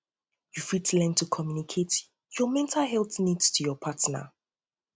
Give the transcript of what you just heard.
you fit learn to community your mental health needs to your partner to your partner